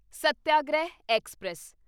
satyagraha express